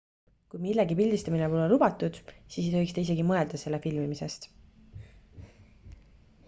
kui millegi pildistamine pole lubatud siis ei tohiks te isegi mõelda selle filmimisest